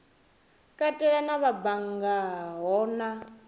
katela na vha banngaho na